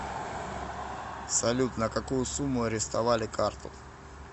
салют на какую сумму арестовали карту